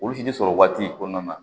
Olu si tɛ sɔrɔ waati kɔnɔna na